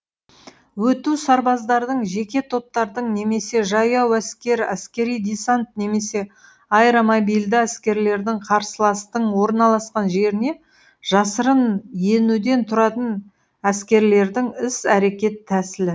өту сарбаздардың жеке топтардың немесе жаяу әскер әскери десант немесе аэромобильді әскерлердің қарсыластың орналаскан жеріне жасырын енуден тұратын әскерлердің іс әрекет тәсілі